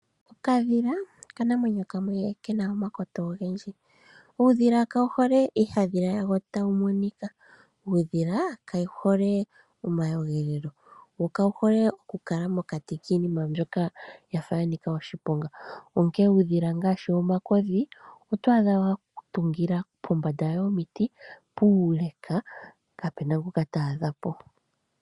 Okadhila okanamwenyo kamwe kena omakoto ogendji. Uudhila kawu hole iiyadhila yawo tayi monika. Uudhila kawu hole omayogelelo, wo kawu hole okukala mokati kiinima mbyoka ya fa ya nika oshiponga. Onkene uudhila ngaashi omakodhi, oto adha wa ka tungila pombanda yomiti puuleka, kapena ngoka ta adha po.